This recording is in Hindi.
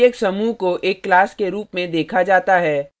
प्रत्येक समूह को एक class के रूप में देखा जाता है